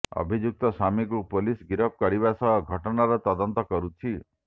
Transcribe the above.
ଅଭିଯୁକ୍ତ ସ୍ୱାମୀକୁ ପୋଲିସ ଗିରଫ କରିବା ସହ ଘଟଣାର ତଦନ୍ତ କରୁଛି